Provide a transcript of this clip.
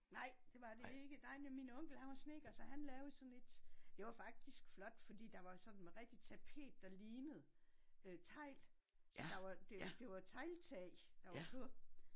Nej! Det var det ikke. Nej det var min onkel han var snedker så han lavede sådan et. Det var faktisk flot fordi der var sådan med rigtig tapet der lignede øh tegl så der var det var tegltag der var på